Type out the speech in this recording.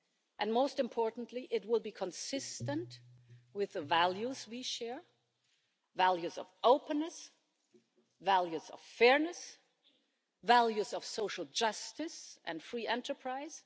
And most importantly, it would be consistent with the values we share values of openness, values of fairness, values of social justice and free enterprise.